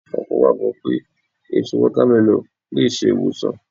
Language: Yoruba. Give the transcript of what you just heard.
Ọ̀pọ̀ gbàgbọ́ pé èso Wọ́támẹlọ̀n lè ṣe ìwòsàn